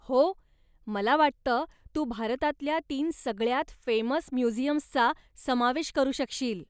हो! मला वाटतं तू भारतातल्या तीन सगळ्यांत फेमस म्युझियम्सचा समावेश करू शकशील.